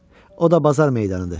O da Bazar meydanıdır.